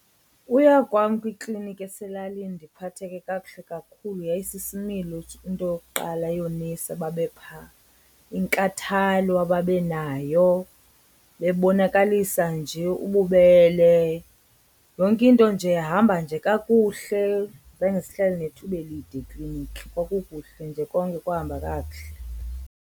Uya kwam kwikliniki eselalini ndiphatheke kakuhle kakhulu yayisisimilo into yokuqala yoonesi ababe phaa, inkathalo ababenayo bebonakalisa nje ububele. Yonke into nje yahamba nje kakuhle zange sihlale nethuba elide ekliniki kwakukuhle nje, konke kwahamba kakuhle.